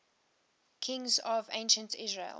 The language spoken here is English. kings of ancient israel